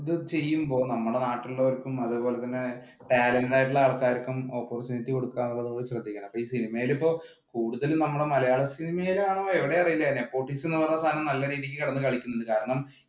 ചെയ്യുമ്പോൾ നമ്മുടെ നാട്ടിൽ ഉള്ളവർക്കും അതുപോലെ തന്നെ parent ആയിട്ടുള്ള ആൾക്കാർക്കും opportunity കൊടുക്കുക എന്നുള്ളത് ശ്രദ്ധിക്കണം സിനിമയിൽ ഇപ്പൊ കൂടുതൽ നമ്മുടെ മലയാള സിനിമയിലാണോ എവിടെയാണെന്ന് അറിയില്ല politics എന്ന് പറഞ്ഞ സാധനം നല്ല രീതിയിൽ കിടന്നു കളിക്കുന്നുണ്ട്.